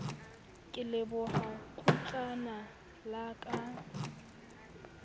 ke leboha kgutlana la ka